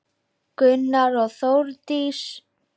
Gunnar og Þórdís.